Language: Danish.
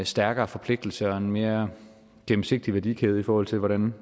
stærkere forpligtelse og en mere gennemsigtig værdikæde i forhold til hvordan